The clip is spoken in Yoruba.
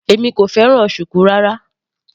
Èmi kò fẹ́ràn shuku rárá.